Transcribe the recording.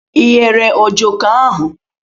Ị ghere Ojoko ahụ?